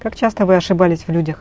как часто вы ошибались в людях